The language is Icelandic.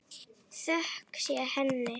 Þökk sé henni.